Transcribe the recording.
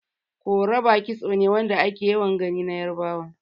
Koroba kitso ne Wanda ake yawan Gani na yarbawa.